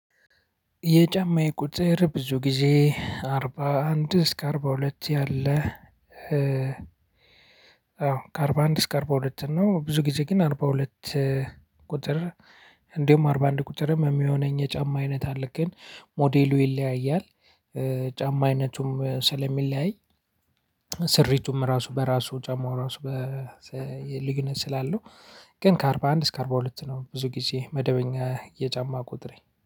የጫማዬ ቁጥር ብዙ ጊዜ አርባ አንድ እስከ አርባ ሁለት ያለ። አዎ ከአርባ አንድ እስከ አርባ ሁለት ነው። ብዙ ጊዜ ግን አርባ ሁለት። ቁጥር እንዲሁም አርባ አንድ ቁጥርም የሚሆነኝ የጫማ አይነት አለ። ግን ሞዴሉ ይለያያል ጫማ አይነቱም ስለሚለያይ ስሪቱም ራሱ በራሱ ጫማው ራሱ። ልዩነት ስላለው ግን ከአርባ አንድ እስከ አርባ ሁለት ነው። ብዙ ጊዜ መደበኛ የጫማ ቁጥሬ